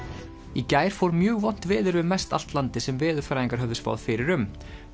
í gær fór mjög vont veður yfir mest allt landið sem veðurfræðingar höfðu spáð fyrir um